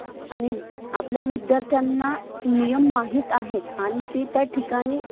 आणि आपल्या विद्यार्थ्यांना नियम माहित आहेत आणि ते त्या ठिकाणी